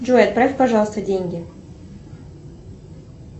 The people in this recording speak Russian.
джой отправь пожалуйста деньги